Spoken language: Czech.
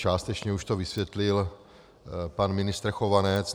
Částečně už to vysvětlil pan ministr Chovanec.